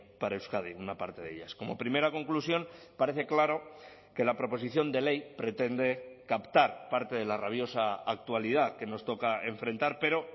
para euskadi una parte de ellas como primera conclusión parece claro que la proposición de ley pretende captar parte de la rabiosa actualidad que nos toca enfrentar pero